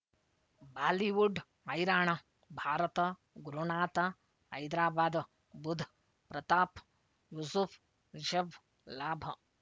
Bollywood ಹೈರಾಣ ಭಾರತ ಗುರುನಾಥ ಹೈದರಾಬಾದ್ ಬುಧ್ ಪ್ರತಾಪ್ ಯೂಸುಫ್ ರಿಷಬ್ ಲಾಭ